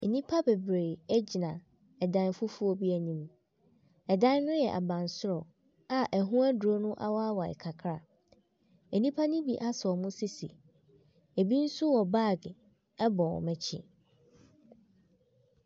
Nnipa bebree gyina dan fufuo bi anim. Dan ne yɛ abansoro a ɛho aduro no awaawae kakra. Nnipa ne bi asɔ wɔn sisi, bi nso wɔ baage bɔ wɔn akyi.